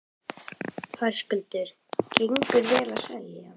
Höskuldur: Gengur vel að selja?